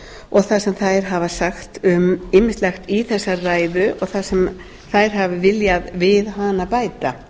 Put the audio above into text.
og það sem þær hafa sagt um ýmislegt í þessari ræðu og það sem þær hafa viljað við hana bæta